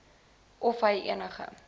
of hy enige